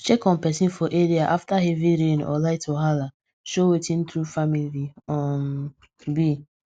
to check on person for area after heavy rain or light wahala show wetin true family um be